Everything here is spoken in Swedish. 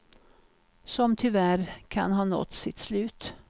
Som tyvärr kan ha nått sitt slut.